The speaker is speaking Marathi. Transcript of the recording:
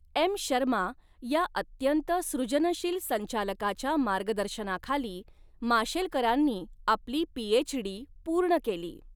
एम् शर्मा या अत्यंत सृजनशील संचालकाच्या मार्गदर्शनाखाली, माशेलकरांनी आपली पीएचडी पूर्ण केली.